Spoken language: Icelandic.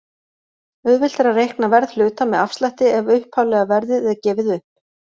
Auðvelt er að reikna verð hluta með afslætti ef upphaflega verðið er gefið upp.